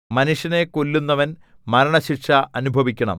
മനുഷ്യനെ കൊല്ലുന്നവൻ മരണശിക്ഷ അനുഭവിക്കണം